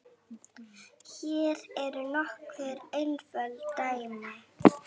Hér eru nokkur einföld dæmi